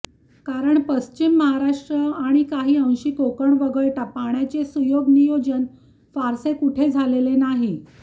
कारण पश्चिम महाराष्ट्र आणि काही अंशी कोकण वगळता पाण्याचे सुयोग्य नियोजन फारसे कुठे झालेले नाही